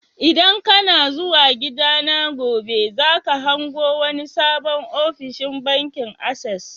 ldan kana zuwa gida na gobe, za ka hango wani sabon ofishin bankin access.